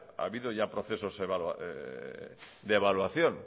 ha habido ya procesos de evaluación